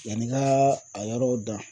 Yann'i ka a yɔrɔw dan